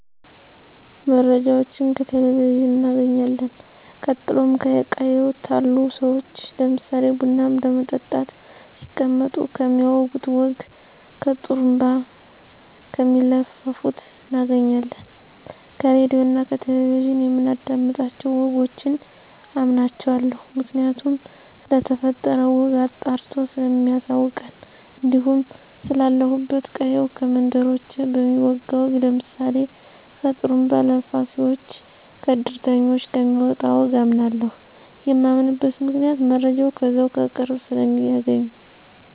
መረጃወችን ከቴሌቨዥን እናገኝለን ቀጥሎም ከቅየው ታሉ ሰዎች ለምሳሌ ቡና ለመጠጣት ሲቀመጡ ከሚያወጉት ወግ ከጡሩንባ ከሚለፍፉት እናገኛለን። ከራድዮ እና ከቴሌቨዥን የምናዳምጣቸው ወጎችን አምናቸዋለሁ ምክንያቱም ስለተፈጠረው ወግ አጣርቶ ሰለሚያሳውቀን። እንዲሁም ስላለሁበት ቅየው ከመንደርተኞች በሚወጋ ወግ ለምሳሌ ከጥሩንባ ለፋፉወች፣ ከድርተኞች ከሚመጣ ወግ አምናለሁ። የማምንበት ምክንያት መረጃው ከዛው ከቅርብ ሰለሚያገኙ።